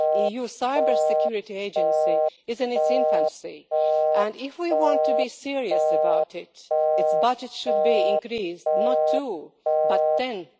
The EU Cyber Security Agency is in its infancy and, if we want to be serious about it, its budget should be increased not twofold but tenfold.